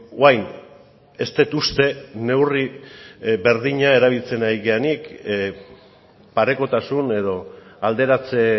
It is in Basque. orain ez dut uste neurri berdina erabiltzen ari garenik parekotasun edo alderatze